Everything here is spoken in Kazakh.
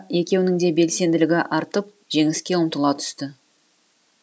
екеуінің де белсенділігі артып жеңіске ұмтыла түсті